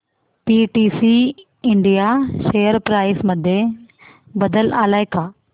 PTC India share price मध्ये बदल आलाय का